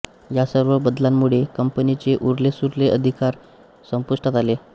या सर्व बदलांमुळे कंपनीचे उरलेसुरले अधिकार संपुष्टात आले